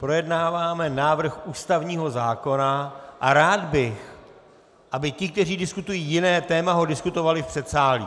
Projednáváme návrh ústavního zákona a rád bych, aby ti, kteří diskutují jiné téma, ho diskutovali v předsálí.